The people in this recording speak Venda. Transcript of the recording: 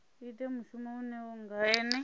ite mushumo uyo nga ene